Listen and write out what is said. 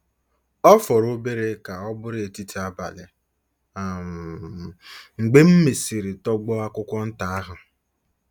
* Ọ fọrọ obere ka ọ bụrụ etiti abalị um mgbe m mesịrị tọgbọ akwụkwọ nta ahụ.